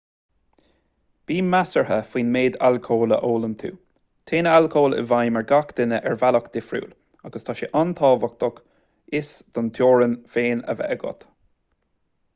bí measartha faoin méid alcóil a ólann tú téann alcól i bhfheidhm ar gach duine ar bhealach difriúil agus tá sé an-tábhachtach fios do theorann féin a bheith agat